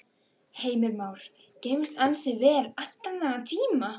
Heimir Már: Geymst ansi vel allan þennan tíma?